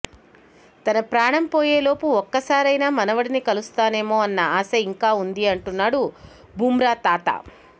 తన ప్రాణం పోయేలోపు ఒక్కసారైనా మనవడిని కలుస్తానేమో అనే ఆశ ఇంకా ఉంది అంటున్నాడు బుమ్రా తాత